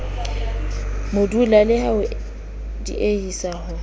modula le ho diehisa ho